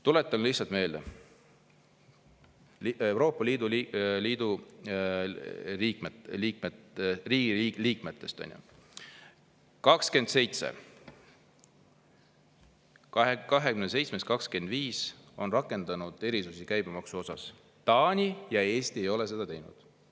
Tuletan lihtsalt meelde, et Euroopa Liidu liikmesriikidest 27-st 25 on rakendanud erisusi käibemaksu puhul, Taani ja Eesti ei ole seda teinud.